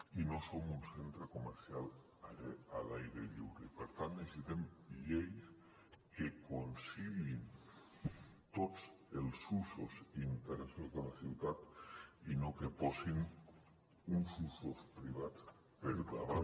i no som un centre comercial a l’aire lliure i per tant necessitem lleis que conciliïn tots els usos i interessos de la ciutat i no que posin uns usos privats per davant